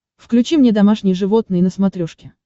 включи мне домашние животные на смотрешке